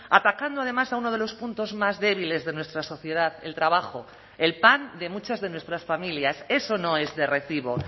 atacando además a uno de los puntos más débiles de nuestra sociedad el trabajo el pan de muchas de nuestras familias eso no es de recibo